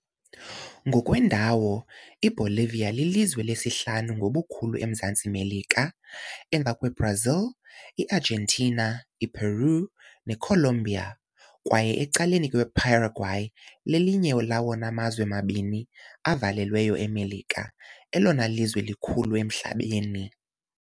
Ngokwendawo, iBolivia lilizwe lesihlanu ngobukhulu eMzantsi Melika, emva kweBrazil, iArgentina, iPeru, neColombia kwaye ecaleni kweParaguay, lelinye lawona mazwe mabini avalelweyo eMelika, elona lizwe likhulu emhlabeni, elona lizwe likhulu emhlabeni.